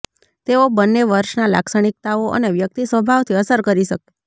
તેઓ બંને વર્ષના લાક્ષણિકતાઓ અને વ્યક્તિ સ્વભાવથી અસર કરી શકે